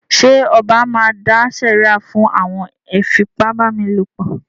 Ṣẹ ọba máa dá sèríà fún àwọn afipábánilòpọ̀?